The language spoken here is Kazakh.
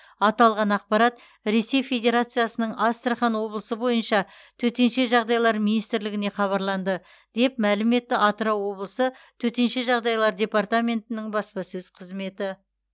аталған ақпарат ресей федерациясының астрахан облысы бойынша төтенше жағдайлар министрлігіне хабарланды деп мәлім етті атырау облысы төтенше жағдайлар департаментінің баспасөз қызметі